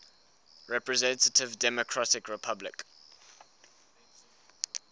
representative democratic republic